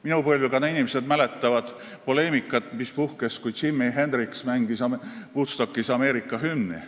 Minu põlvkonna inimesed mäletavad poleemikat, mis puhkes, kui Jimi Hendrix mängis Woodstockis Ameerika hümni.